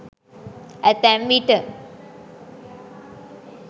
ඇතැම් විට